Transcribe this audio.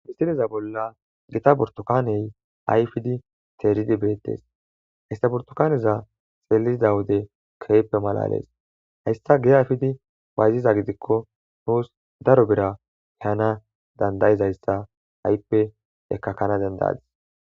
Histineza bolla gita burtokaney ayfidi teeridi beettes histaburtokaneza xeeliza wode ke'ppe malalees hayssa geayfidi bayziza gidikko nuus daro bera hana dandayizayssa ha'ippe ekkakkana dendadis